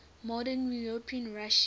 modern european russia